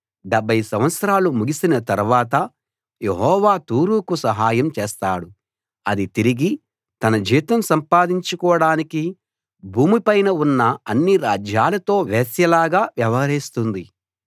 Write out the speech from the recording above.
డెబ్భై సంవత్సరాలు ముగిసిన తర్వాత యెహోవా తూరుకు సహాయం చేస్తాడు అది తిరిగి తన జీతం సంపాదించుకోడానికి భూమి పైన ఉన్న అన్ని రాజ్యాలతో వేశ్యలాగా వ్యవహరిస్తుంది